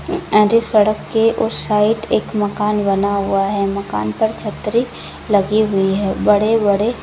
and इस सड़क के उस साइड एक मकान बना हुआ है मकान पर छतरी लगी हुई है बड़े बड़े --